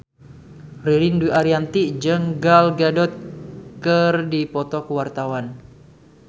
Ririn Dwi Ariyanti jeung Gal Gadot keur dipoto ku wartawan